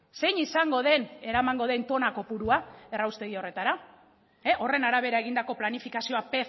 zein izango den eramango den tona kopurua erraustegi horretara horren arabera egindako planifikazioa